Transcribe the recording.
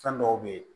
Fɛn dɔw be ye